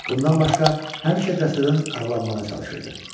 Bundan başqa həmişə dəstədən aralanmağa çalışırdı.